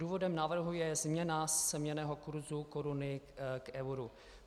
Důvodem návrhu je změna směnného kurzu koruny k euru.